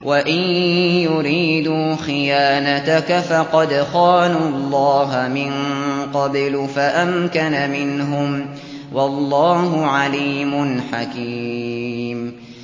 وَإِن يُرِيدُوا خِيَانَتَكَ فَقَدْ خَانُوا اللَّهَ مِن قَبْلُ فَأَمْكَنَ مِنْهُمْ ۗ وَاللَّهُ عَلِيمٌ حَكِيمٌ